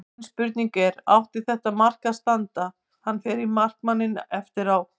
Mín spurning er: Átti þetta mark að standa, hann fer í markmanninn eftir á?